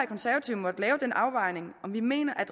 konservative måttet lave den afvejning om vi mener at